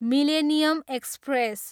millennium express